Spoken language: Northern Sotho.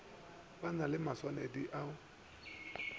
ba na le maswanedi a